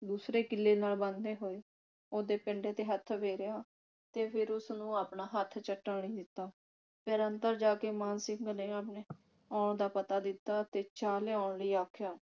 ਦੂਸਰੇ ਕਿੱਲੇ ਨਾਲ ਬੰਨਦੇ ਹੋਏ ਉਹਦੇ ਪਿੰਡੇ ਤੇ ਹੱਥ ਫੇਰਿਆ ਤੇ ਫਿਰ ਉਸਨੂੰ ਆਪਣਾ ਹੱਥ ਚੱਟਣ ਲਈ ਦਿੱਤਾ ਫਿਰ ਅੰਦਰ ਜਾ ਕੇ ਮਾਣ ਸਿੰਘ ਨੇ ਆਪਣੇ ਆਓ ਦਾ ਪਤਾ ਦਿੱਤਾ ਤੇ ਚਾਹ ਲਿਆਉਣ ਲਈ ਆਖਿਆ